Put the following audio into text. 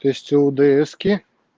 то есть лдс-ки